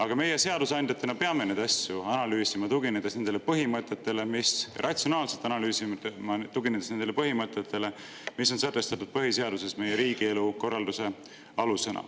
Aga meie seadusandjatena peame neid asju ratsionaalselt analüüsima, tuginedes nendele põhimõtetele, mis on sätestatud põhiseaduses meie riigikorralduse alusena.